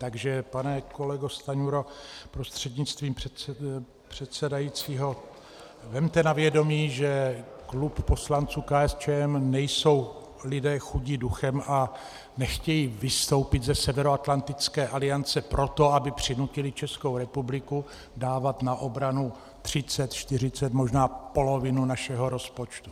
Takže pane kolego Stanjuro prostřednictvím předsedajícího, vezměte na vědomí, že klub poslanců KSČM nejsou lidé chudí duchem a nechtějí vystoupit ze Severoatlantické aliance proto, aby přinutili Českou republiku dávat na obranu 30, 40, možná polovinu našeho rozpočtu.